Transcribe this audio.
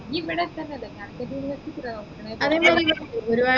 നി ഇവിടെ തന്നെയല്ലെ calicut university ൽ തന്നെയല്ലെ നോക്കുന്നെ